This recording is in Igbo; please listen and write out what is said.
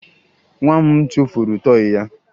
Nwa m tụfuru tọọyị ya